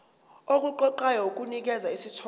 okuqoqayo kunikeza isithombe